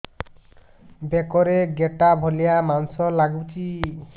ବେକରେ ଗେଟା ଭଳିଆ ମାଂସ ଲାଗୁଚି